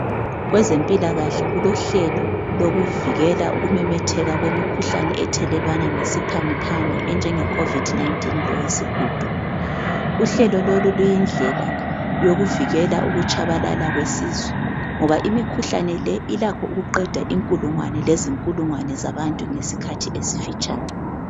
Kwezempilakahle kulo hlelo lokuvikela ukumemetheka kwemikhuhlane ethelelwana ngesiphangi phangi enjenge Covid 19 lo wesihudo uhlelo lolo luyindlela yokuvikela ukutshabalala kwesizwe ngoba imikhuhlane le ilakho ukuqeda inkulungwane lezinkulungwane zabantu ngesikhathi esifitshane.